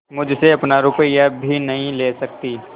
मुझसे अपना रुपया भी नहीं ले सकती